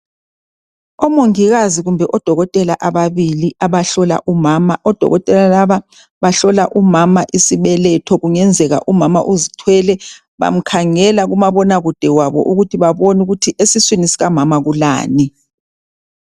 Omongikazi kumbe odokotela ababili abahlola umama odokotela laba bahlolwe umama isibeletho kungenzeka umama uzithwele bamkhangela kumabonakude wabo ukuthi babone ukuthi esiswini sikamama kulani